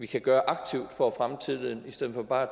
kan gøre for at fremme tilliden i stedet for bare at